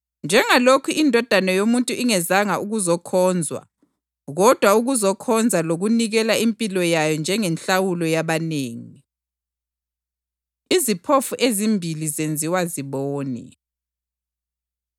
njengalokhu iNdodana yoMuntu ingezanga ukuzokhonzwa kodwa ukuzokhonza lokunikela impilo yayo njengenhlawulo yabanengi.” Iziphofu Ezimbili Zenziwa Zibone